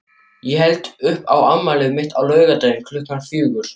Ég held upp á afmælið mitt á laugardaginn klukkan fjögur.